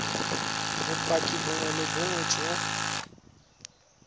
bopaki bongwe le bongwe jo